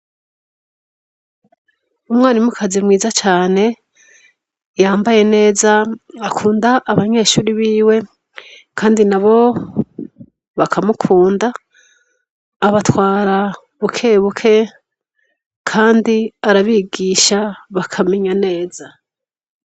Umwarimu kazi mwiza cane yambaye neza akunda abanyeshure biwe kandi nabo bakamukunda abatwara buke buke kandi arabigisha bakamenya neza.